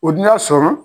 O dun y'a sɔrɔ